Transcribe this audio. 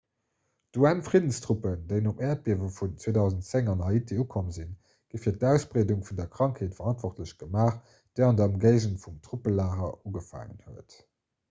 d'un-friddenstruppen déi nom äerdbiewe vun 2010 an haiti ukomm sinn gi fir d'ausbreedung vun der krankheet verantwortlech gemaach déi an der ëmgéigend vum truppelager ugefaangen huet